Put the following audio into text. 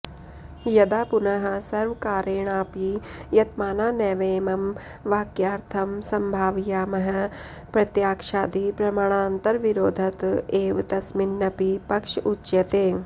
यदा पुनः सर्वप्रकारेणापि यतमाना नैवेमं वाक्यार्थं सम्भावयामः प्रत्यक्षादिप्रमाणान्तरविरोधत एव तस्मिन्नपि पक्ष उच्यते